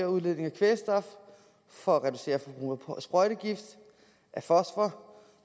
udledningen af kvælstof for at reducere forbruget af sprøjtegift og af fosfor